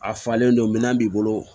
A falen don minɛn b'i bolo